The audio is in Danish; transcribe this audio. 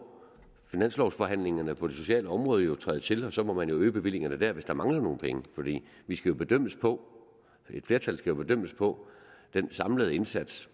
finanslovsforhandlingerne på det sociale område jo træde til og så må man jo øge bevillingerne dér hvis der mangler nogle penge fordi vi skal bedømmes på et flertal skal bedømmes på den samlede indsats